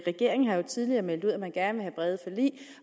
regeringen har jo tidligere meldt ud at man gerne vil have brede forlig